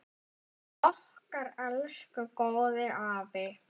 Okkar elsku góði afi!